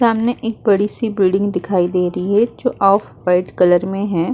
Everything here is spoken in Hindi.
सामने एक बड़ी सी बिल्डिंग दिखाई दे रही है जो कलर में है।